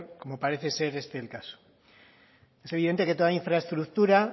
como parece ser este el caso es evidente que toda infraestructura